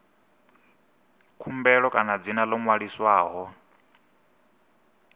khumbelo kana dzina ḽo ṅwaliswaho